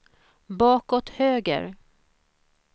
bakåt höger